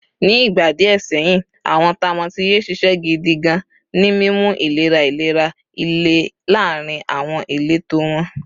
Ni igba diẹ sẹhin, awọn tamotiye ṣiṣẹ gidi kan ni mimu ilera ilera ile laarin awọn ileto wọn.